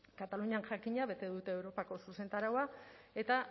katalunian jakina bete dute europako zuzentaraua eta